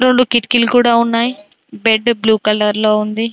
రొండు కిటికీలు కూడా ఉన్నాయి బెడ్డు బ్లూ కలర్ లో ఉంది.